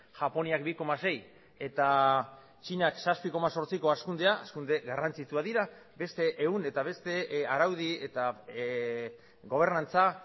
japoniak bi koma sei eta txinak zazpi koma zortziko hazkundea hazkunde garrantzitsuak dira beste ehun eta beste araudi eta gobernantza